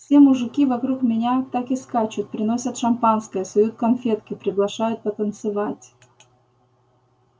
все мужики вокруг меня так и скачут приносят шампанское суют конфетки приглашают потанцевать